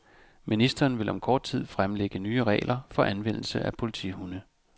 Ministeriet vil om kort tid fremlægge nye regler for anvendelse af politihunde.